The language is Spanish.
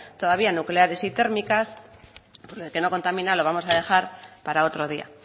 todavía nucleares y térmicas pues lo de que no contamina lo vamos a dejar para otro día